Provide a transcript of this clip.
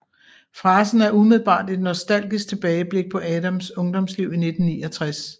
Frasen er umiddelbart et nostalgisk tilbageblik på Adams ungdomsliv i 1969